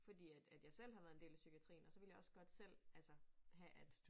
Fordi at at jeg selv har været en del af psykiatrien og så vil jeg også godt selv altså have at